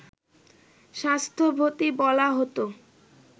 স্বাস্থ্যবতী বলা হত